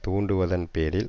தூண்டுவதன் பேரில்